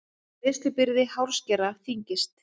Greiðslubyrði hárskera þyngist